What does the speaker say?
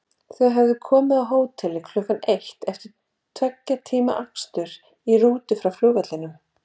Þau höfðu komið á hótelið klukkan eitt eftir tveggja tíma akstur í rútu frá flugvellinum.